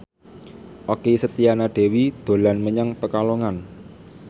Okky Setiana Dewi dolan menyang Pekalongan